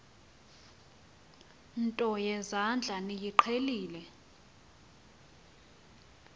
nto yezandla niyiqhelile